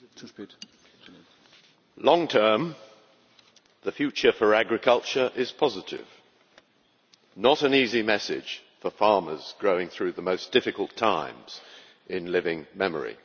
Mr President, in the long term the future for agriculture is positive not an easy message for farmers going through the most difficult times in living memory.